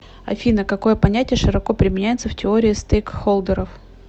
афина какое понятие широко применяется в теории стейкхолдеров